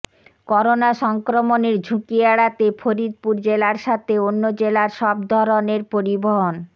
corona সংক্রমণের ঝুঁকি এড়াতে ফরিদপুর জেলার সাথে অন্য জেলার সব ধরনের পরিবহন